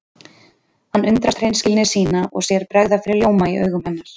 Hann undrast hreinskilni sína og sér bregða fyrir ljóma í augum hennar.